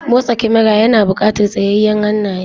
Motsa kamara yana buƙatar tsayayyen hannaye.